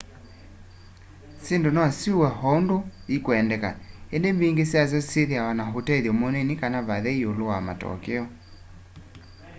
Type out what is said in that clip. syindu no siuwe o undu ikwendeka indi mbingi syasyo syithiawa na utethyo munini kana vathei iulu wa matokeo